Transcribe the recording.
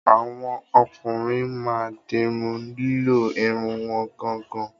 Àwọn ọkùnrin ma dirun lilo Irun wọn gangan.